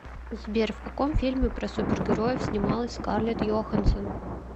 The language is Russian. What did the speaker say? сбер в каком фильме про супер героев снималась скарлетт йоханссон